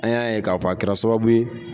An y'a ye k'a fɔ a kɛra sababu ye.